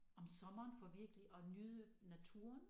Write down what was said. Om sommeren for virkelig at nyde naturen